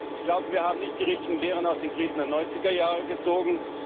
Ich glaube, wir haben nicht die richtigen Lehren aus den Krisen der 90er Jahre gezogen.